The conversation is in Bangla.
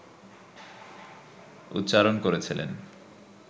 উচ্চারণ করেছিলেন